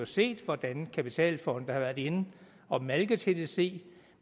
set hvordan kapitalfonde har været inde at malke tdc